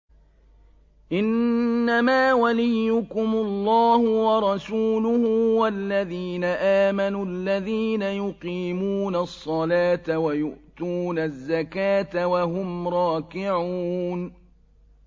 إِنَّمَا وَلِيُّكُمُ اللَّهُ وَرَسُولُهُ وَالَّذِينَ آمَنُوا الَّذِينَ يُقِيمُونَ الصَّلَاةَ وَيُؤْتُونَ الزَّكَاةَ وَهُمْ رَاكِعُونَ